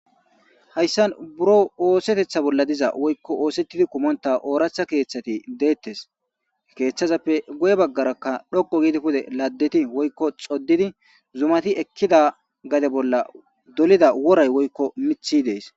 hayssan buro oosetetha bolla diza woykko oosettidi kumonta ooracha keeththati deettes keeththazappe goye baggarakka dhoqo giidi pude laddeti woykko xoddidi zumati ekkida gade bolla dolida woray woykko mithi dees